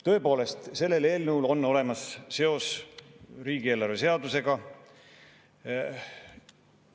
Tõepoolest, sellel eelnõul on olemas seos riigieelarve seadusega.